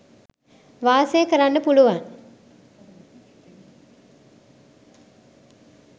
වාසය කරන්න පුළුවන්.